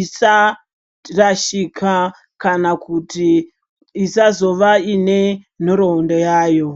isharashika kana kuti isazova inenhoroondo yayo.